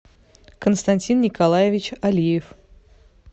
константин николаевич алиев